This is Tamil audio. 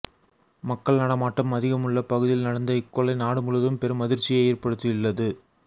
மக்கள் நடமாட்டம் அதிகம் உள்ள பகுதியில் நடந்த இக்கொலை நாடு முழுவதும் பெரும் அதிர்ச்சியை ஏற்படுத்தியுள்ளது